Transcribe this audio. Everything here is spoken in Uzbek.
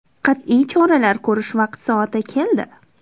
Qat’iy choralar ko‘rish vaqti-soati keldi.